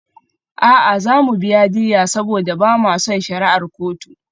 A'a, za mu biya diyya saboda ba ma son shari'ar kotu.